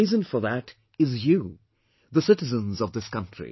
And the reason for that is you, the citizens of this country